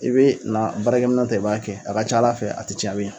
I bɛ na baarakɛ minɛn ta i b'a kɛ a ka ca Ala fɛ a tɛ cɛn.